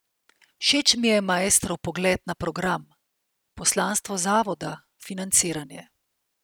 Všeč mi je maestrov pogled na program, poslanstvo zavoda, financiranje.